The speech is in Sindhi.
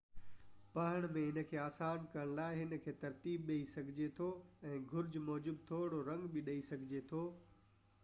پڙهڻ ۾ ان کي آسان ڪرن لاءِ ان کي ترتيب ڏئي سگھجي ٿو ۽ گهرج موجب ٿورڙو رنگ به ڏئي سگهجي ٿو